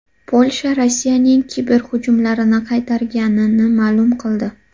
Polsha Rossiyaning kiberhujumlarini qaytarganini ma’lum qildi.